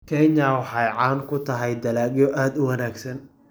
Kenya waxa ay caan ku tahay dalagyo aad u wanaagsan.